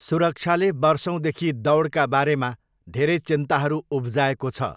सुरक्षाले वर्षौँदेखि दौडका बारेमा धेरै चिन्ताहरू उब्जाएको छ।